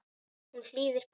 Hún hlýðir pabba.